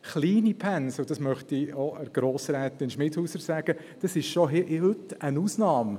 Kleine Pensen – und das möchte ich auch Grossrätin Schmidhauser sagen – sind schon heute eine Ausnahme.